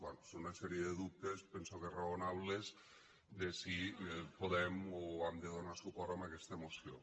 bé són una sèrie de dubtes penso que raonables de si podem o hem de donar suport a aquesta moció